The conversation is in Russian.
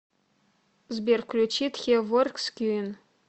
сбер включи тхе воркс квин